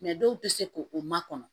dɔw tɛ se ko o makɔnɔ